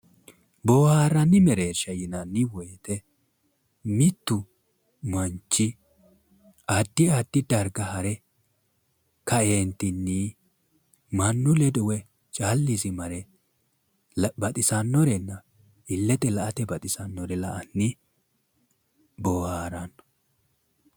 Boohaarranni mereershsha yiananni woyiite mittu manchi addi addi darga hare kaeentinni mannu ledo woyi callisi mare baxisannore illete baxisannore la'anni boohaaranno.